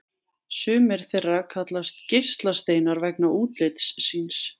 Sumir þeirra kallast geislasteinar vegna útlits síns.